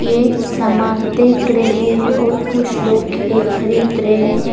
ये सामान देख रहे है और कुछ लोग ये खरीद रहे है।